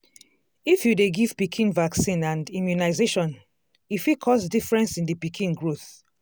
if you dey give pikin vaccine and immunization e fit cause difference in the pikin growth.